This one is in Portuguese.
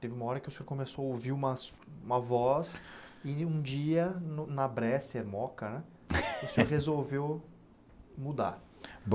teve uma hora que o senhor começou a ouvir umas uma voz... e um dia, no na Bresser Moca né, o senhor resolveu mudar.